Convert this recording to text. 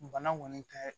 Bana kɔni tɛ